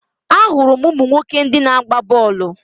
Ahụrụ m ụmụ nwoke ndị na-agba bọọlụ.